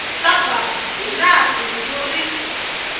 surburb ya laha bindzu ri